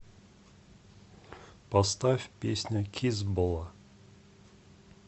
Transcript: поставь песня кизбола